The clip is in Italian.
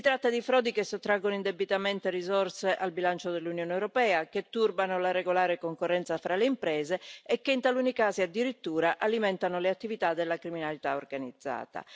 Si tratta di frodi che sottraggono indebitamente risorse al bilancio dell'Unione europea, che turbano la regolare concorrenza fra le imprese e che in taluni casi, addirittura, alimentano le attività della criminalità organizzata.